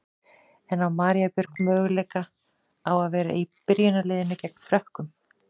En á María Björg möguleika á að vera í byrjunarliðinu gegn Frökkum?